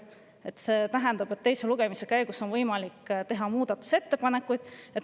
See tähendab, et on võimalik teha muudatusettepanekuid.